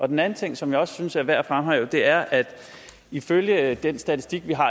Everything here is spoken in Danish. den anden ting som jeg også synes er værd at fremhæve er at ifølge den statistik vi har